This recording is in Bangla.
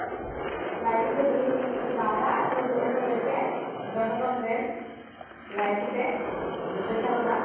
লাইকি তে বিনোদন তুমি দাওনা? অন্য~ অন্যদেরকে? জনগণদের লাইকিতে video ছাড়োনা?